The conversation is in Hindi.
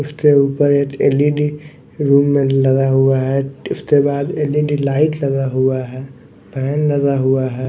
उसके ऊपर एक एल_इ_डी रूम में लगा हुआ है उसके बाद एल_इ_डी लाइट लगा हुआ है फैन लगा हुआ है।